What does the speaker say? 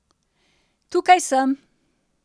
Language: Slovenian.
Tukaj sem.